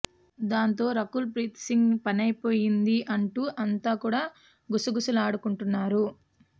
దాంతో రకుల్ ప్రీత్ సింగ్ పనైపోయింది అంటూ అంతా కూడా గుసగుసలాడుకుంటున్నారు